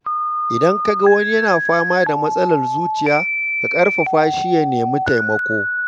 Idan ka ga wani yana fama da matsalar zuciya, ka ƙarfafa shi ya nemi taimako.